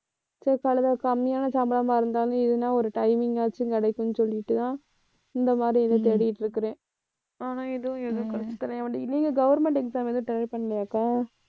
சரி கழுதை கம்மியான சம்பளமா இருந்தாலும் இதுன்னா ஒரு timing ஆச்சும் கிடைக்கும்னு சொல்லிட்டுதான் இந்த மாதிரி இதை தேடிட்டிருக்கிறேன். ஆனா இதுவும் எதுவும் கிடைச்சி தொலையமாட்டிங்குது நீங்க government exam எதுவும் try பண்ணலையாக்கா